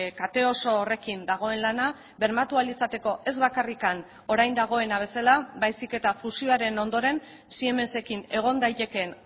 kate oso horrekin dagoen lana bermatu ahal izateko ez bakarrik orain dagoena bezala baizik eta fusioaren ondoren siemensekin egon daitekeen